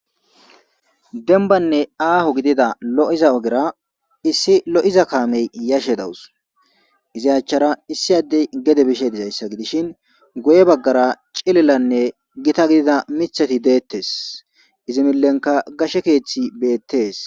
Denbanne aaho gidida lo7iza ogera issi lo'iza kaamey yashe dawus izayachchara issi addey gede bishe dizayssa gidishin goye baggara cilillanne gita gidida mithati deettes izimillenka gashe keeththi beettees.